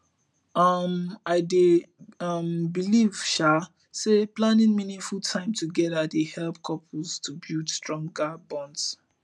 um i dey um believe um say planning meaningful time together dey help couples to build stronger bonds